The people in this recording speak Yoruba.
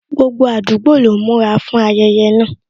Gbogbo àdúgbò lọ ń múra fún ayẹyẹ náà